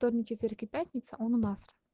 вторник четверг и пятница он у нас